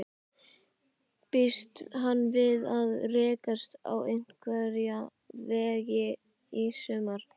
Býst hann við að rekast á einhverja veggi í sumar?